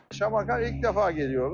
Şamaxıya ilk dəfə gəliriyoruz.